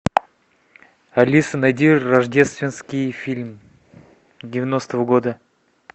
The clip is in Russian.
алиса найди рождественский фильм девяностого года